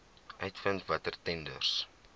uitvind watter tenders